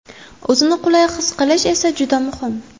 O‘zini qulay his qilish esa juda muhim.